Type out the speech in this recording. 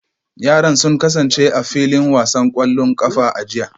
Yaran sun kasance a filin wasan kwallon kafa a jiya